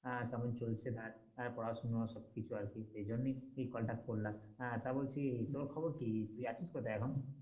হ্যাঁ কেমন চলছে তার পড়াশোনা সব কিছু আরকি সে জন্যেই এই call টা করলাম তা বলছি তোর খবর কি? তুই আছিস কোথায় এখন?